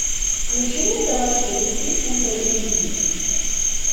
включи мне товарищ детектив ультра эйч ди